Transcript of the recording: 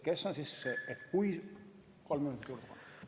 Palun kolm minutit juurde!